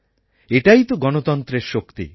এটাই তো গণতন্ত্রের শক্তি